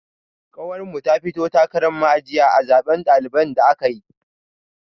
Ƙawar mu ta fito takaran ma'ajiya a zaben ɗalibai da aka yi.